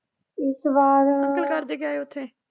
ਇਸ ਵਾਰ ਅੰਕਲ ਕਰਦੇ ਕਿਆ ਐ ਉੱਥੇ?